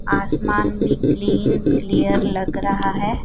आसमान भी clean clear लग रहा है।